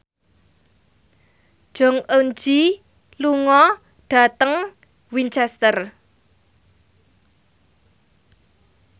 Jong Eun Ji lunga dhateng Winchester